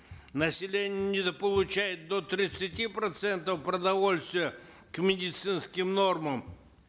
население недополучает до тридцати процентов продовольствия к медицинским нормам